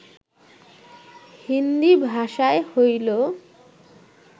হিন্দী ভাষায় হইল